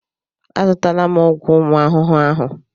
Azụtala m ọgwụ ụmụ ahụhụ ahụ.